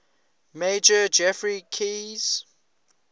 major geoffrey keyes